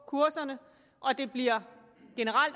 kurserne og det bliver